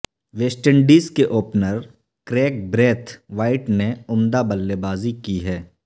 waste Indies کے opener Kraigg Brathwaite نے عمدہ بلے بازی کی ہے